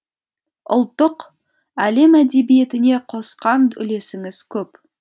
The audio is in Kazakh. ұлттық әлем әдебиетіне қосқан үлесіңіз көп